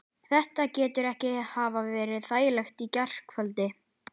Þetta getur ekki hafa verið þægilegt í gærkvöldi?